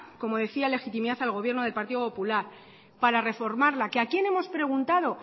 como decía legitimidad al gobierno de partido popular para reformarla que a quién hemos preguntado